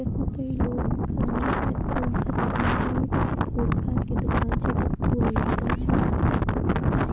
यखमा कई लोग भी खड़ा हुयां सायद फूल खरीदने के लिए क्योंकी फूल-फल की दुकान च जख फूल बिकदा च।